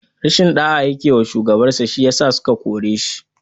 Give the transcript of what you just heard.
Rashin ɗaya yake wa shugaban sa shi yasa suka kore shi.